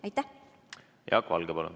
Jaak Valge, palun!